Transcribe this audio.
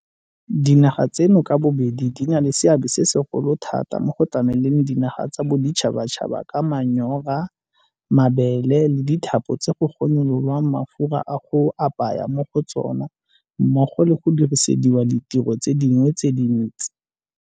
Dinaga tseno ka bobedi di na le seabe se segolo thata mo go tlameleng dinaga tsa boditšhabatšhaba ka manyora, mabele le dithapo tse go gonyololwang mafura a go apaya mo go tsona mmogo le go dirisediwa ditiro tse dingwe tse dintsi.